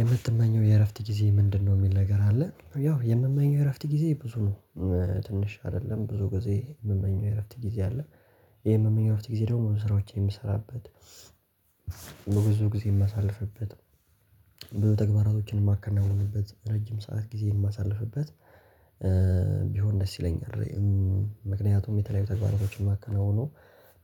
የምትመኘው የእረፍት ጊዜ ምንድነው? የሚል ነገር አለ ያው የምመኘው የእረፍት ጊዜ ብዙ ነው። ትንሽ አይደለም ብዙ ጊዜ የምመኘው የእረፍት ጊዜ አለ። ይሄ የምመኘው እረፍት ጊዜ ደግሞ ስራዎችን የምሰራበት በብዙ ጊዜ የማሳልፍበት በተግባራቶችንም የማከናውንበት ረጅም ሰዓት ጊዜ የማሳልፍበት ቢሆን ደስ ይለኛል። ምክንያቱም የተለያዩ ተግባራዎችን ማከናውነው